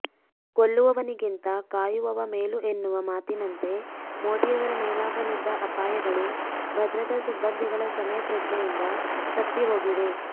ಕೊಲ್ಲುವವನಿಗಿಂತ ಕಾಯುವವ ಮೇಲು ಎನ್ನುವ ಮಾತಿನಂತೆ ಮೋದಿಯವರ ಮೇಲಾಗಲಿದ್ದ ಅಪಾಯಗಳು ಭದ್ರತಾ ಸಿಬಂದಿಗಳ ಸಮಯ ಪ್ರಜ್ಞೆಯಿಂದ ತಪ್ಪಿ ಹೋಗಿವೆ